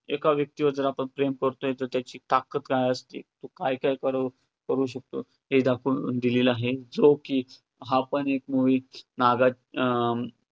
एका व्यक्तीवर जर आपण प्रेम करतोय तर त्याची ताकद काय असते तो काय काय कर~ करू शकतो हे दाखवून दिलेलं आहे, जो की हा पण एक movie ना~